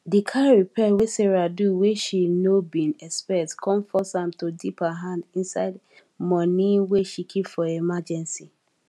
di car repair wey sarah do wey she nor bin expect come force am to dip her hand inside money wey she keep for emergency